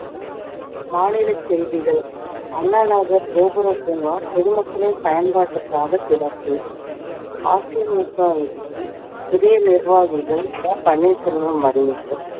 மாநிலச் செய்திகள் அண்ணா நகர் கோபுர பூங்கா பொதுமக்களின் பயன்பாட்டிற்காக திறப்பு அதிமுகவிற்கு புதிய நிர்வாகிகள் ஓ பன்னீர்செல்வம் அறிவிப்பு